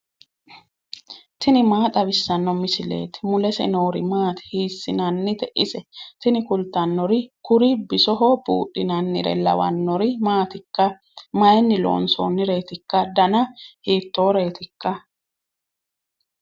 tini maa xawissanno misileeti ? mulese noori maati ? hiissinannite ise ? tini kultannori kuri bisoho buudhinannire lawannori maatikka mayinni loonsoonnireetikka dana hiittooreetikka